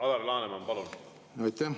Alar Laneman, palun!